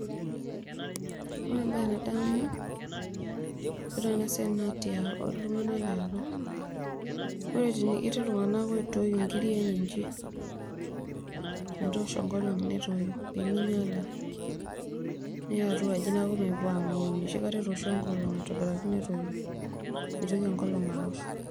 Ore entoki nadamu tiatua enasiai naa ltunganak leapa, ore ltunganak oitoi nkirik metoosho enkolong netoi ninyanya niya atua aji mepuo angoi ninche nicho metoosho enkolong aitobitaki netoi nitoki enkolong aosh.